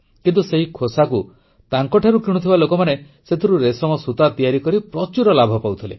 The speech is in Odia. କିନ୍ତୁ ସେଇ ଖୋସାକୁ ତାଙ୍କଠାରୁ କିଣୁଥିବା ଲୋକମାନେ ସେଥିରୁ ରେଶମ ସୂତା ତିଆରି କରି ପ୍ରଚୁର ଲାଭ ପାଉଥିଲେ